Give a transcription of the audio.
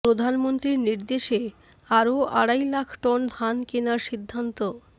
প্রধানমন্ত্রীর নির্দেশে আরও আড়াই লাখ টন ধান কেনার সিন্ধান্ত